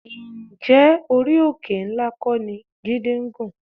Ǹjẹ́ orí òkè ńlá kọ́ ni Jídé ń gùn?